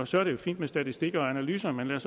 så er det jo fint med statistikker og analyser men lad